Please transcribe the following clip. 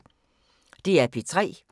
DR P3